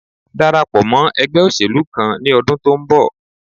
Darapọ̀ mọ́ ẹgbé òṣèlú kan ní ọdún tó ń bọ̀